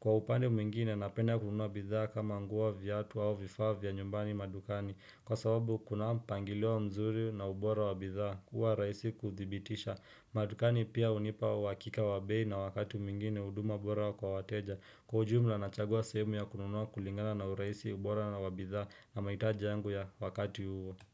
Kwa upande mwingine napenda kununua bidhaa kama nguo viatu au vifaa vya nyumbani madukani Kwa sababu kunao mpangilio mzuri na ubora wa bidhaa kuwa rahisi kuthibitisha madukani pia hunipa uhakika wa bei na wakati mwingine huduma bora kwa wateja Kwa ujumla nachagua sehemu ya kununua kulingana na urahisi ubora na wa bidhaa na mahitaji yangu ya wakati huo.